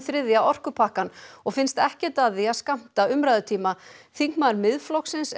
þriðja orkupakkann og finnst ekkert að því að skammta umræðutíma þingmaður Miðflokksins